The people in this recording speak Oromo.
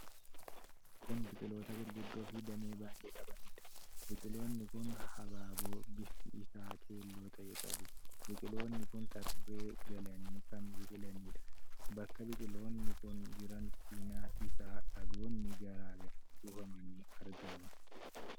Kun biqiloota gurguddoo fi damee baay'ee qabaniidha. Biqiloonni kun habaaboo bifti isaa keelloo ta'e qabu. Biqiloonni kun tarree galanii kan biqilaniidha. Bakka biqiloonni kun jiran cinaa isaa dhagoonnii garaa garaa kuufamanii argamu.